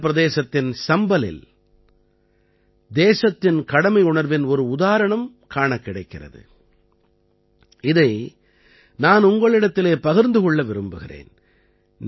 உத்தர பிரதேசத்தின் சம்பலில் தேசத்தின் கடமையுணர்வின் ஒரு உதாரணம் காணக் கிடைக்கிறது இதை நான் உங்களிடத்திலே பகிர்ந்து கொள்ள விரும்புகிறேன்